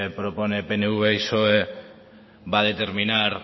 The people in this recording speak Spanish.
propone pnv y psoe va a determinar